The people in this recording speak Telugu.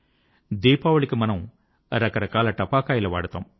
దీపావళి కి మనము రకరకాల టపాకాయలు వాడుతాము